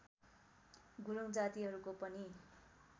गुरूङ जातिहरूको पनि